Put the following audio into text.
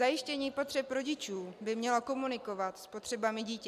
Zajištění potřeb rodičů by mělo komunikovat s potřebami dětí.